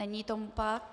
Není tomu tak.